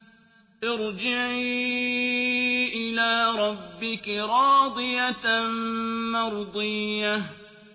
ارْجِعِي إِلَىٰ رَبِّكِ رَاضِيَةً مَّرْضِيَّةً